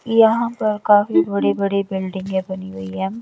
यहाँ पर काफी बड़ी बड़ी बिल्डिंगे बनी हुई है।